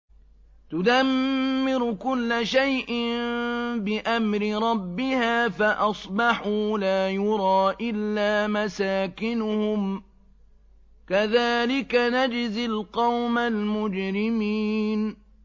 تُدَمِّرُ كُلَّ شَيْءٍ بِأَمْرِ رَبِّهَا فَأَصْبَحُوا لَا يُرَىٰ إِلَّا مَسَاكِنُهُمْ ۚ كَذَٰلِكَ نَجْزِي الْقَوْمَ الْمُجْرِمِينَ